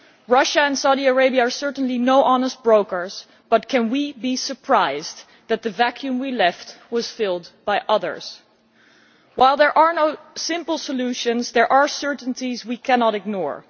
Russia and Saudi Arabia are certainly no honest brokers, but can we be surprised that the vacuum we left was filled by others? While there are no simple solutions, there are certainties we cannot ignore.